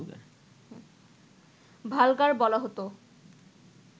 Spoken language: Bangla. ভালগার বলা হতো